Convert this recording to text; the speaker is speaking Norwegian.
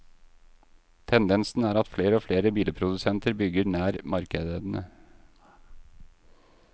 Tendensen er at flere og flere bilprodusenter bygger nær markedene.